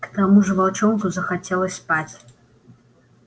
к тому же волчонку захотелось спать